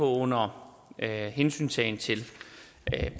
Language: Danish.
under hensyntagen til